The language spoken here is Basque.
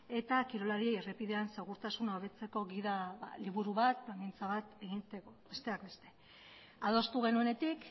eta kirolari errepidean segurtasuna hobetzeko gida liburu bat plangintza bat egiteko besteak beste adostu genuenetik